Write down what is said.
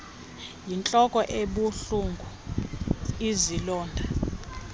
yintloko ebuhlungu izilonda